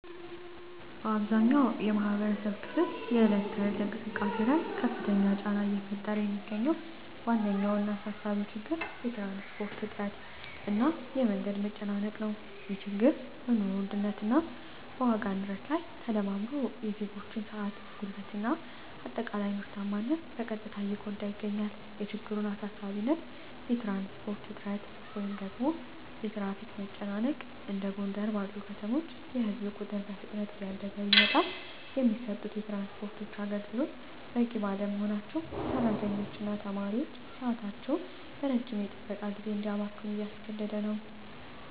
በአብዛኛው የማኅበረሰብ ክፍል የዕለት ተዕለት እንቅስቃሴ ላይ ከፍተኛ ጫና እየፈጠረ የሚገኘው ዋነኛውና አሳሳቢው ችግር የትራንስፖርት እጥረት እና የመንገድ መጨናነቅ ነው። ይህ ችግር በኑሮ ውድነት እና በዋጋ ንረት ላይ ተደማምሮ የዜጎችን ሰዓት፣ ጉልበት እና አጠቃላይ ምርታማነት በቀጥታ እየጎዳ ይገኛል። የችግሩን አሳሳቢነት የትራንስፖርት እጥረት (የትራፊክ መጨናነቅ): እንደ ጎንደር ባሉ ከተሞች የሕዝብ ቁጥር በፍጥነት እያደገ ቢመጣም፣ የሚሰጡት የትራንስፖርት አገልግሎቶች በቂ ባለመሆናቸው ሠራተኞችና ተማሪዎች ሰዓታቸውን በረጅም የጥበቃ ጊዜ እንዲያባክኑ እያስገደደ ነው።